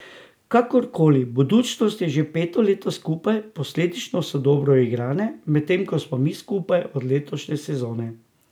Kakorkoli, Budućnost je že peto leto skupaj, posledično so dobro uigrane, medtem ko smo mi skupaj od letošnje sezone.